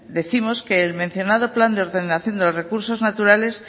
décimos que el mencionado plan de ordenación de los recursos naturales